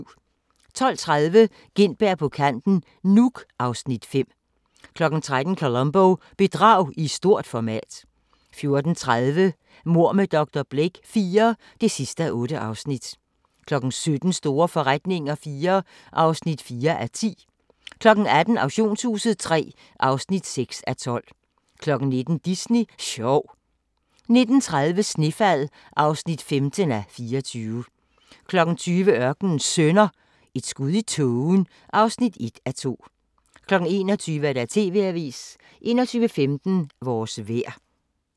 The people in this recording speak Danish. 12:30: Gintberg på kanten - Nuuk (Afs. 5) 13:00: Columbo: Bedrag i stort format 14:30: Mord med dr. Blake IV (8:8) 17:00: Store forretninger IV (4:10) 18:00: Auktionshuset III (6:12) 19:00: Disney sjov 19:30: Snefald (15:24) 20:00: Ørkenens Sønner – Et skud i tågen (1:2) 21:00: TV-avisen 21:15: Vores vejr